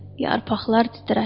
Yarpaqlar titrəşdi.